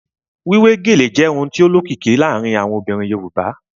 Wíwé gèlè jẹ́ ohun tó lókìkí láàárín àwọn obìnrin Yorùbá